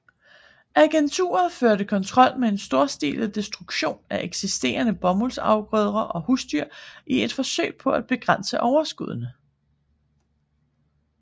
Agenturet førte kontrol med en storstilet destruktion af eksisterende bomuldsafgrøder og husdyr i et forsøg på at begrænse overskuddene